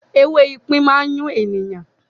“ewé ipín” má n yún ènìyàn.